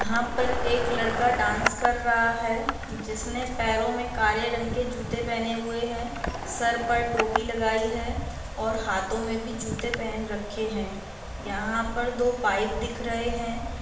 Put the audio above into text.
यहाँ पर एक लड़का डांस कर रहा है जिसने पैरों में काले रंग के जूते पहने हुए हैं सर पर टोपी लगायी है और हाथो में भी जूते पहन रखे हैं। यहाँ पर दो पाईप दिख रहे हैं।